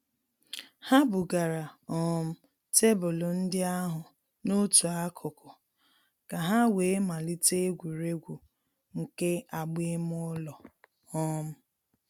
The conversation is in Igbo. Ha bugara um tebụlụ ndị ahụ n'otu akụkụ ka ha wee malite egwuregwu nke agba ime ụlọ. um